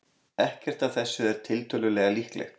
Ekkert af þessu er tiltölulega líklegt.